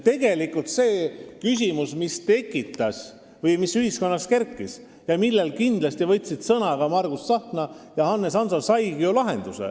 Tegelikult see küsimus, mis ühiskonnas üles kerkis ja mille kohta võtsid sõna ka Margus Tsahkna ja Hannes Hanso, saigi ju lahenduse.